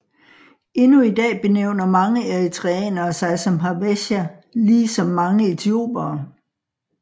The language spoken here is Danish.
Endnu i dag benævner mange eritreanere sig som Habesha lige som mange etiopiere